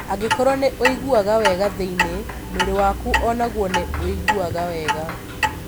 Angĩkorũo nĩ ũiguaga wega thĩinĩ, mwĩrĩ waku o naguo nĩ ũiguaga wega.